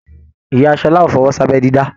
Ìyá Ṣọlá o fọwọsi abẹ dídá.